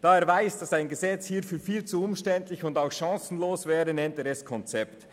Da er weiss, dass ein Gesetz hierfür viel zu umständlich und auch chancenlos wäre, nennt er es Konzept.